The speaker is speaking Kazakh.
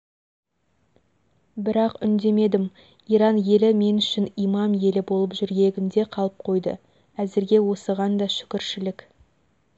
бірақ үндемедім иран елі мен үшін имам елі болып жүрегімде қалып қойды әзірге осыған да шүкіршілік